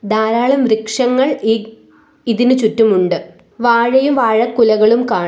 ധാരാളം വൃക്ഷങ്ങൾ ഈ ഇതിന് ചുറ്റും ഉണ്ട് വാഴയും വാഴ കുലകളും കാണാം.